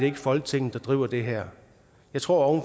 ikke folketinget der driver det her jeg tror at